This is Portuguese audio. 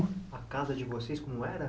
A casa de vocês, como era?